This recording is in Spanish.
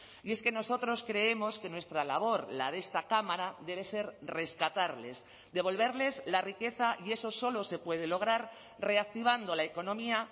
y es que nosotros creemos que nuestra labor la de esta cámara debe ser rescatarles devolverles la riqueza y eso solo se puede lograr reactivando la economía